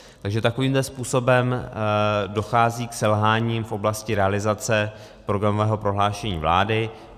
Takže takovýmto způsobem dochází k selhání v oblasti realizace programového prohlášení vlády.